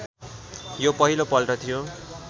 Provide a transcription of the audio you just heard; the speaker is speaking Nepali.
यो पहिलोपल्ट थियो